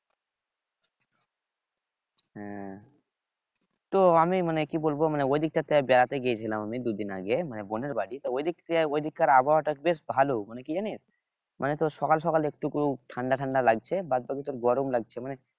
হ্যাঁ তো আমি মানে কি বলবো মানে ওই দিকটাতে বেড়াতে গিয়েছিলাম আমি দুই দিন আগে মানে বোনের বাড়ি তা ঐদিক কার আবহাওয়া টা বেশ ভালো মানে কি জানিস মানে তোর সকাল সকাল একটুকু ঠান্ডা ঠান্ডা লাগছে বাদবাকি তোর গরম লাগছে মানে